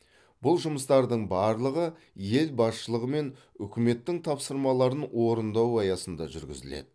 бұл жұмыстардың барлығы ел басшылығы мен үкіметтің тапсырмаларын орындау аясында жүргізіледі